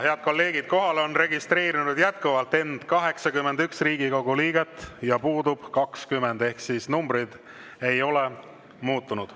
Head kolleegid, kohale on registreerinud jätkuvalt end 81 Riigikogu liiget ja puudub 20, ehk numbrid ei ole muutunud.